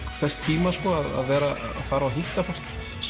þess tíma að vera að fara og hitta fólk